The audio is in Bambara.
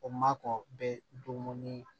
O ma kɔn bɛ dumuni ye